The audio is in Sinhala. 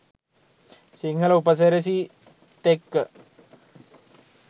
සිංහල උප සිරැසි ත් එක්ක